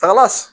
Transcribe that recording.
Taga